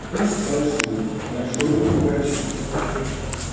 куст большой-большой у бочага